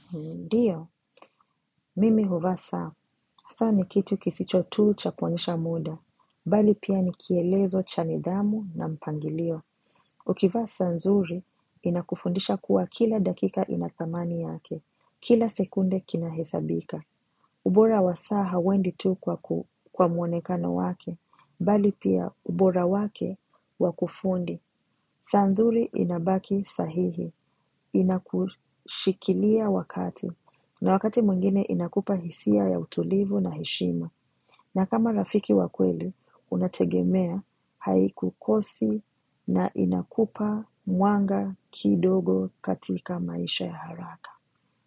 Ndiyo, mimi huvaa saa. Saa ni kitu kisicho tu cha kuonyesha muda bali pia ni kielezo cha nidhamu na mpangilio. Ukivaa saa nzuri inakufundisha kuwa kila dakika ina thamani yake, kila sekunde kinahesabika. Ubora wa saa hauendi tu kwa muonekano wake bali pia ubora wake wakufundi. Saa nzuri inabaki sahihi, inakushikilia wakati na wakati mwingine inakupa hisia ya utulivu na heshima. Na kama rafiki wakweli unategemea haikukosi na inakupa mwanga kidogo katika maisha ya haraka.